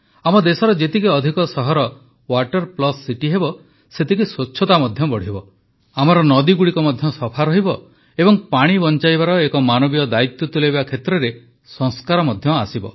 ଆମ ଦେଶର ଯେତିକି ଅଧିକ ସହର ୱାଟର ପ୍ଲସ୍ ସିଟି ହେବ ସେତିକି ସ୍ୱଚ୍ଛତା ମଧ୍ୟ ବଢ଼ିବ ଆମର ନଦୀଗୁଡ଼ିକ ମଧ୍ୟ ସଫା ରହିବ ଓ ପାଣି ବଂଚାଇବାର ଏକ ମାନବୀୟ ଦାୟିତ୍ୱ ତୁଲାଇବା କ୍ଷେତ୍ରରେ ସଂସ୍କାର ମଧ୍ୟ ଆସିବ